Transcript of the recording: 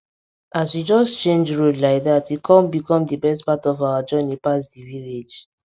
as we just change road like dat e com become di best part of our journey pass di village